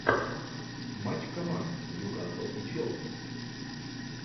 матч команд ньюкасл и челси